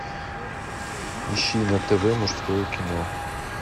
ищи на тв мужское кино